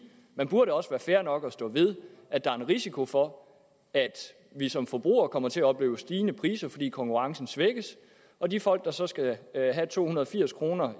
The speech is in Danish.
man burde også være fair nok til at stå ved at der er en risiko for at vi som forbrugere kommer til at opleve stigende priser fordi konkurrencen svækkes og de folk der så skal have to hundrede og firs kroner